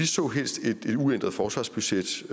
så helst et uændret forsvarsbudget